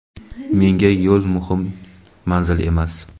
Menga yo‘l muhim, manzil emas.